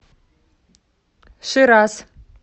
шираз